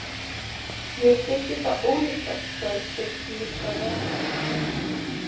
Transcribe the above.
Mér þykir það ólíklegt, sagði Steinn luntalega.